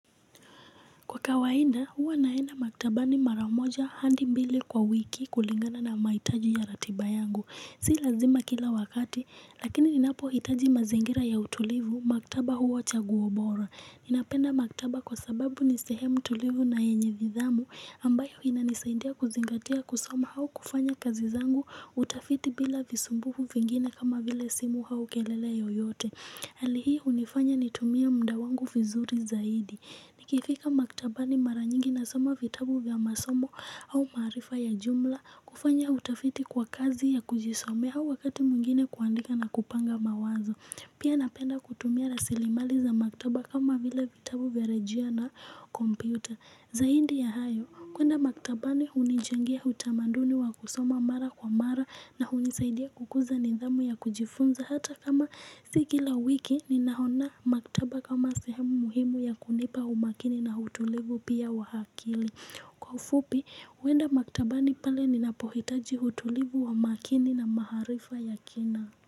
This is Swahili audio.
Kwa kawaida, huwa naenda maktabani mara moja hadi mbili kwa wiki, kulingana na mahitaji ya ratiba yangu. Si lazima kila wakati, lakini ninapohitaji mazingira ya utulivu, maktaba huwa chaguo bora. Napenda maktaba kwa sababu ni sehemu tulivu na yenye nidhamu, ambayo inanisaidia kuzingatia kusoma au kufanya kazi zangu, utafiti, bila visumbufu vingine kama vile simu au kelele yoyote. Hali hii hunifanya nitumie muda wangu vizuri zaidi. Nikifika maktabani mara nyingi nasoma vitabu vya masomo au maarifa ya jumla, kufanya utafiti kwa kazi ya kujisomea, au wakati mwingine kuandika na kupanga mawazo. Pia napenda kutumia rasilimali za maktaba kama vile vitabu vya rejia na kompyuta. Zaidi ya hayo, kuenda maktabani hunijengea utamanduni wa kusoma mara kwa mara, na hunisaidia kukuza nidhamu ya kujifunza hata kama si kila wiki, ninaona maktaba kama sehemu muhimu ya kunipa umakini na utulivu pia wa akili. Kwa ufupi huenda maktabani pale ninapohitaji utulivu wa makini na maarifa ya kina.